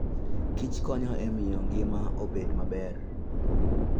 Kich konyo e miyo ngima obed maber.